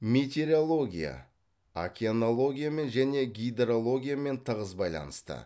метеорология океанологиямен және гидрологиямен тығыз байланысты